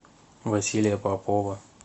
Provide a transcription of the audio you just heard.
василия попова